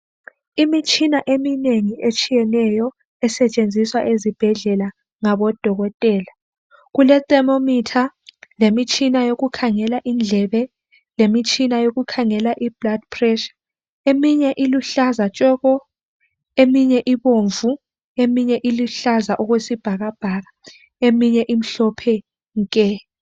Imitshina eminengi etshiyeneyo , esetshenziswa ezibhedlela ngabodokotela. Kule thermometer lemitshina yokukhangela indlebe, lemitshina yokukhangela iblood pressure. Eminye iluhlaza tshoko, eminye ibomvu, eminye iluhlaza okwesibhakabhaka, eminye imhlophe nke